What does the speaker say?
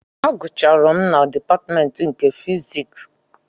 Agụcharụ m na dịpatmentị nke fiziks